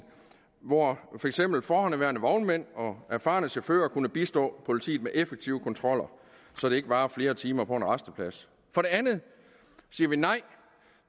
hvor for eksempel forhenværende vognmænd og erfarne chauffører kan bistå politiet med effektive kontroller så det ikke varer flere timer på en rasteplads for det andet siger vi nej